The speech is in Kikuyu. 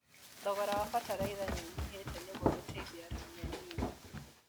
Thogora wa bataraitha nĩũnyihĩte nĩguo gũteithia arĩmi anini.